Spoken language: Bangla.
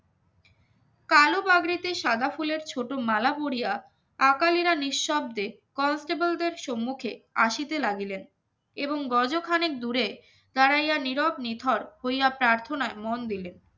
কালো পাগড়িতে সাদা ফুলের ছোট মালা পরিয়া আকালিরা নিঃশব্দে constable র সম্মুখে আসিতে লাগিলেন এবং গজ ও অনেক দূরে দাঁড়াইয়া নিরব নিথর হইয়া প্রার্থনায় মন দিলে